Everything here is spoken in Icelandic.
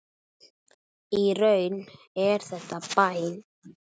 Í raun er þetta bæn.